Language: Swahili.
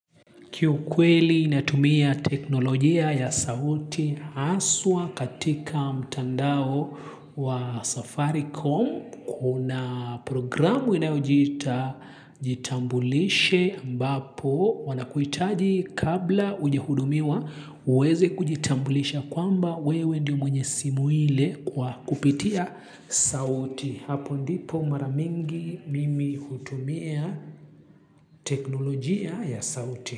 Kiu kweli naitumia teknolojia ya sauti haswa katika mtandao wa safaricom. Kuna programu inajita jitambulishe mbapo wanakuitaji kabla ujehudumiwa uweze kujitambulisha kwamba wewe ndi mwenye simu ile kwa kupitia sauti. Hapo ndipo maramingi mimi kutumia teknolojia ya sauti.